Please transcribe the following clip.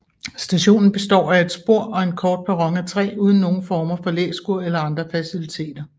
Stationen består af et spor og en kort perron af træ uden nogen former for læskur eller andre faciliteter